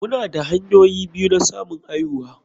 Muna da hanyoyi biyu na samun aihuwa.